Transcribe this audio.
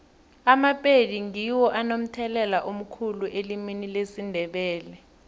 amapedi ngiwo anomthelela omkhulu elimini lesindebele